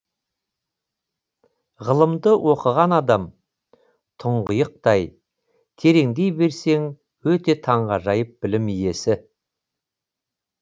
ғылымды оқыған адам тұңғиықтай тереңдей берсең өте таңғажайып білім иесі